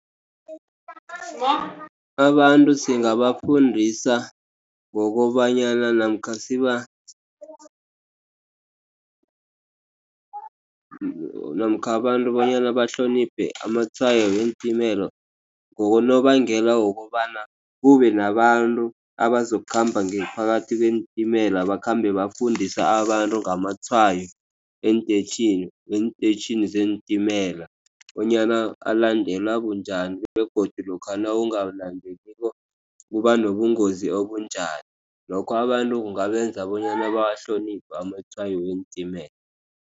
Abantu singabafundisa ngokobanyana namkha namkha abantu bonyana bahloniphe amatshwayo weentimela ngonobangela wokobana kube nabantu abazokukhamba ngaphakathi kweentimela. Bakhambe bafundisa abantu ngamatshwayo eenteyitjhini, eenteyitjhini zeentimela. Bonyana alandelwa bunjani. Begodu lokha nawungawalandeliko kuba nobungozi obunjani. Lokho abantu kungabenza bonyana bahloniphe amatshwayo weentimela.